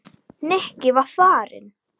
Nikki var farinn.